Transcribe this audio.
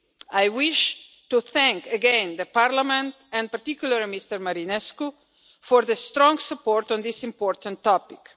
I wish to thank again Parliament, and particularly Mr Marinescu, for the strong support on this important topic.